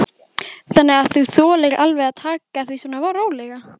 Þannig að þú þolir alveg að taka því svona rólega?